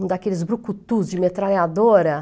Um daqueles brucutus de metralhadora.